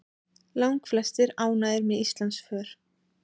Langflestir ánægðir með Íslandsför